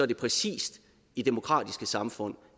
det præcis i demokratiske samfund